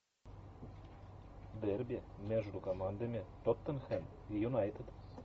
дерби между командами тоттенхэм и юнайтед